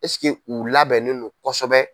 Ɛsike u labɛnnen no kosɛbɛ.